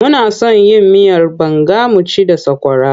Muna son yin miyar banga mu ci da sakwara.